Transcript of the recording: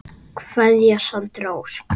Kveðja Sandra Ósk.